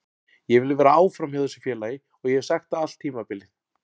Ég vil vera áfram hjá þessu félagi og ég hef sagt það allt tímabilið.